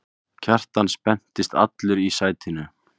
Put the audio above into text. Kjartan spenntist allur í sætinu.